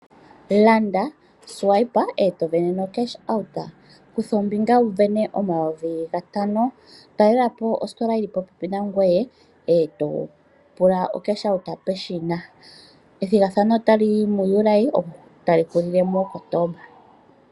Landa, swipe eto sindana no cash out kutha ombinga wu sindane omayovi gatano. Talelapo ositola yili popepi nangoye eto pula o cash out peshina. Ethigathano otali yi mu July etali hulile mu Kotomba.